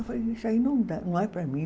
Eu falei, isso aí não dá, não é para mim.